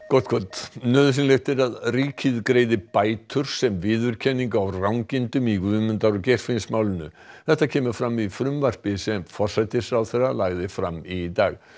gott kvöld nauðsynlegt er að ríkið greiði bætur sem viðurkenningu á rangindum í Guðmundar og Geirfinnsmálinu þetta kemur fram í frumvarpi sem forsætisráðherra lagði fram í dag